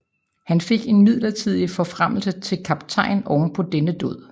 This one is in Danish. Han fik en midlertidig forfremmelse til kaptajn oven på denne dåd